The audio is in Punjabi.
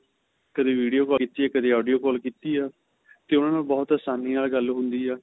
ਕਦੇ video call ਕੀਤੀ ਏ ਕਦੇ audio call ਕੀਤੀ ਏ ਤੇ ਉਹਨਾ ਨੂੰ ਬਹੁਤ ਆਸਾਨੀ ਨਾਲ ਗੱਲ ਹੁੰਦੀ ਆ